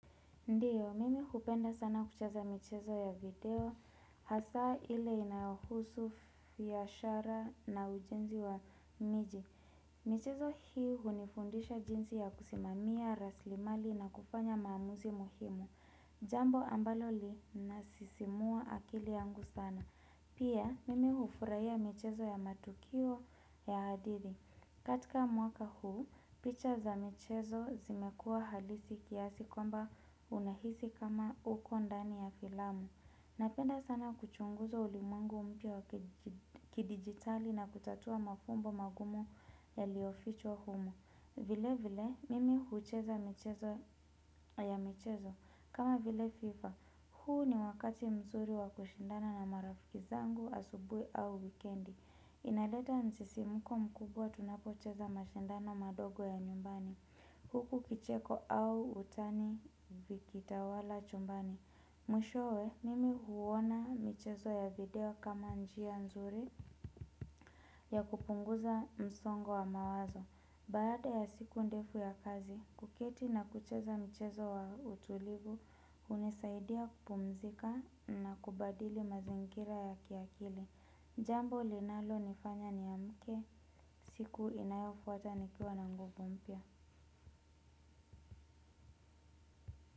Ndiyo, mimi hupenda sana kucheza michezo ya video, hasa ile inayohusu biashara na ujenzi wa miji. Michezo hii hunifundisha jinsi ya kusimamia, raslimali na kufanya maamuzi muhimu. Jambo ambalo linasisimua akili yangu sana. Pia, mimi hufurahia michezo ya matukio ya hadithi. Katika mwaka huu, picha za michezo zimekuwa halisi kiasi kwamba unahisi kama uko ndani ya filamu. Napenda sana kuchunguzwa ulimwengu mpya wa kidigitali na kutatua mafumbo magumu yaliofichwa humo. Vile vile, mimi hucheza michezo ya michezo. Kama vile fifa, huu ni wakati mzuri wa kushindana na marafiki zangu asubuhi au wikendi. Inaleta msisimuko mkubwa tunapocheza mashindano madogo ya nyumbani. Huku kicheko au utani vikitawala chumbani. Mwishoe, mimi huona michezo ya video kama njia nzuri ya kupunguza msongo wa mawazo. Baada ya siku ndefu ya kazi, kuketi na kucheza michezo wa utulivu unisaidia kupumzika na kubadili mazingira ya kiakili. Jambo linalo nifanya ni amke siku inayofuata nikiwa na nguvu mpya.